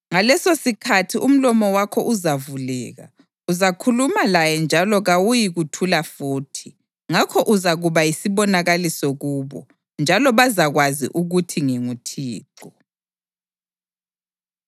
Ngalesosikhathi umlomo wakho uzavuleka; uzakhuluma laye njalo kawuyikuthula futhi. Ngakho uzakuba yisibonakaliso kubo, njalo bazakwazi ukuthi nginguThixo.”